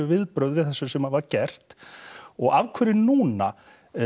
viðbrögð við þessu sem var gert og af hverju núna